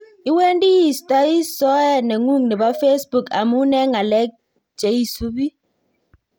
Iwendi iistoi soet neng'ung nebo facebook amun en ngalek cheisupe